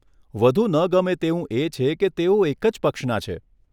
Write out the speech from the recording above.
વધુ ન ગમે તેવું એ છે કે તેઓ એક જ પક્ષના છે.